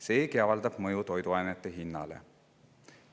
Seegi avaldab mõju toiduainete hinnale.